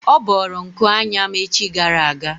Ọ bọọrọ nku anya m echi gara aga.